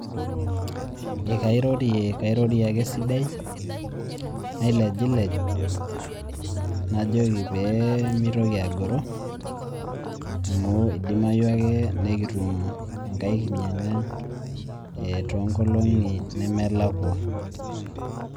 Ekairorie kairorie ake esidai, nailejilej najoki pemitoki agoro, amu idimayu ake nikitum enkai kinyang'a tonkolong'i nemelakua.